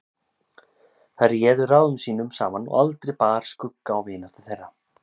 Þær réðu ráðum sínum saman og aldrei bar skugga á vináttu þeirra.